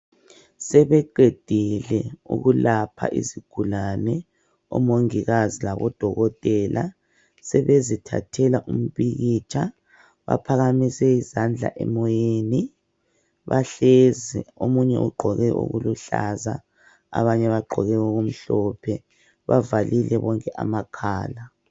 Sebeqedile ukulapha izigulane omongikazi labodokotela sebezithathela umpikitsha baphakamise izandla emoyeni bahlezi omunye ugqoke okuluhlaza abanye bagqoke okumhlophe bavalile bonke amakhala.